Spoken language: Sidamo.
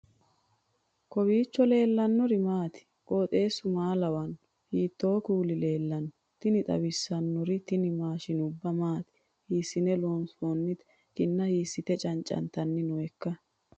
kowiicho leellannori maati ? qooxeessu maa lawaanno ? hiitoo kuuli leellanno ? tini xawissannori tini maashshinubba maati hiissine loonsoonnite kinna hiissite cancantanni nooikka